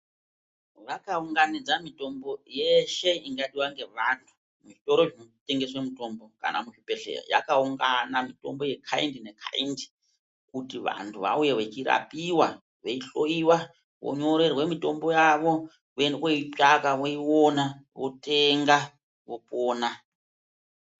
Vakaunganidza mutombo yeshe ingadiwa ngevantu muzvitoro zvinotengese mutombo kana muzvibhedhlera yakaungana mutombo yekaindi nekaindi kuti vantu Vauye vechirapiwa veihloiwa vonyorerwe mutombo yavo Voende koitsvaka voiona wotenga wopona .